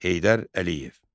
Heydər Əliyev.